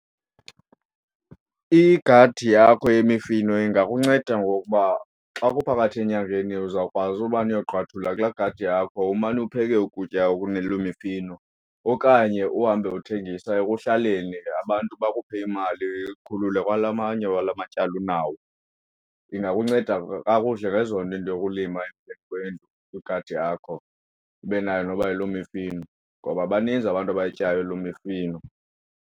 Igadi yakho yemifino ingakunceda ngokuba xa kuphakathi enyakeni uzawukwazi ubane uyogqwuathula kulaa gadi yakho umane upheke ukutya ekunelo mifino okanye uhambe uthengisa ekuhlaleni abantu bakuphe imali ikukhulule kwala manye wala matyala unawo. Ingakunceda kakuhle ngezonto into yokulima igadi yakho ibe nayo noba yiloo mifino ngoba baninzi abantu abayityayo loo mifino.